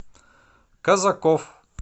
казаков